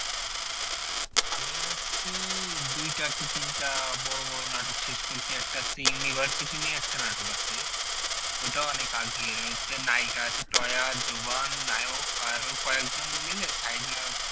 আমি হচ্ছে দুইটা কি তিনটা বড় বড় নাটক শেষ করছি একটা University নিয়ে একটা নাটক আছে ওটাও অনেক আগের হচ্ছে নায়িকা আছে টয়া জোবান নায়ক আরো কয়েকজন মিলে side নায়ক